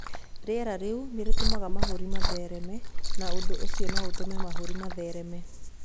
Rĩera rĩu nĩ rĩtũmaga mahũri mathereme na ũndũ ũcio no ũtũme mahũri mathereme.